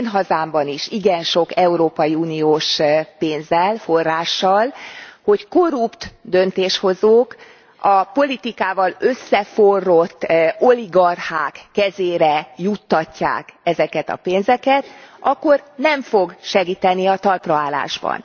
az én hazámban is igen sok európai uniós pénzzel, forrással, hogy korrupt döntéshozók a politikával összeforrott oligarchák kezére juttatják ezeket a pénzeket, akkor nem fog segíteni a talpra állásban.